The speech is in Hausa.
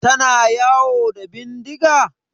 Tana yawo da bindiga?